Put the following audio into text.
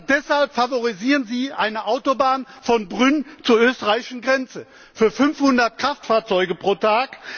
Stattdessen favorisieren Sie eine Autobahn von Brünn zur österreichischen Grenze für 500 Kraftfahrzeuge pro Tag.